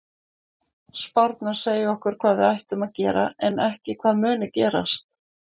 Spárnar segja okkur hvað við ættum að gera en ekki hvað muni gerast.